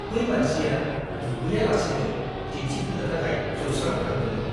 बै मानसिया दुगैया लासेनो दिन्थिफुंनो थाखाय जौस्राङाव थादोंमोन।